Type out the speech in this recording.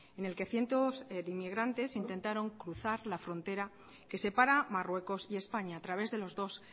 en el que cientos de inmigrantes intentaron cruzar la frontera que separa marruecos y españa a través de los dos